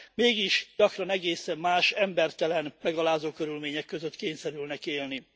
Mégis gyakran egészen más, embertelen, megalázó körülmények között kényszerülnek élni.